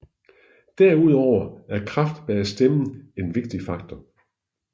Derudover er kraft bag stemmen en vigtig faktor